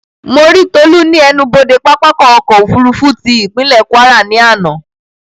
Mo rí Tolú ní ẹnubodè pápákọ̀ ọ̀kọ òfurufú tí ìpínlè Kwara ní àná